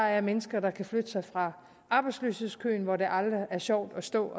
er mennesker der kan flytte sig fra arbejdsløshedskøen hvor det aldrig er sjovt at stå